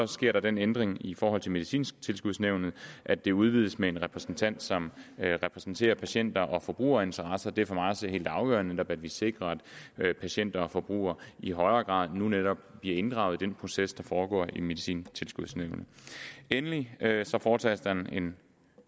sker der den ændring i forhold til medicintilskudsnævnet at det udvides med en repræsentant som repræsenterer patient og forbrugerinteresser det er for mig at se helt afgørende at vi sikrer at patienter og forbrugere i højere grad nu netop bliver inddraget i den proces der foregår i medicintilskudsnævnet endelig foretages der en